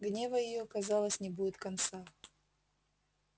гнева её казалось не будет конца